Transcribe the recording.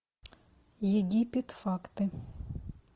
египет факты